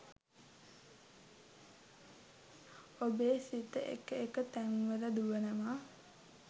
ඔබේ සිත එක එක තැන්වල දුවනවා.